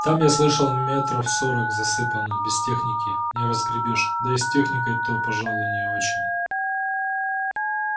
там я слышал метров сорок засыпано без техники не разгребёшь да и с техникой-то пожалуй не очень